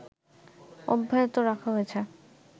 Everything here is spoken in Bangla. অব্যাহত রাখা হয়েছে